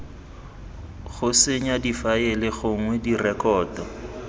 go senya difaele gongwe direkoto